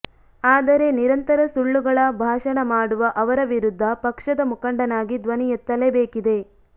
ಆದರೆ ನಿರಂತರ ಸುಳ್ಳುಗಳ ಭಾಷಣ ಮಾಡುವ ಅವರ ವಿರುದ್ಧ ಪಕ್ಷದ ಮುಖಂಡನಾಗಿ ಧ್ವನಿ ಎತ್ತಲೇ ಬೇಕಿದೆ